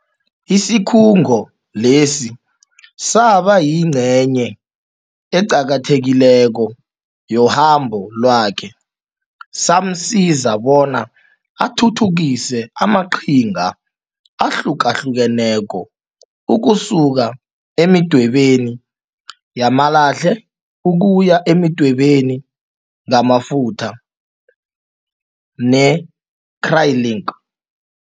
Isikhungo lesi saba yingcenye eqakathekileko yohambo lwakhe, samsiza bona athuthukise amaqhinga ahlukahlukeneko, ukusuka emidwebeni yamalahle ukuya ekudwebeni ngamafutha ne-acrylic.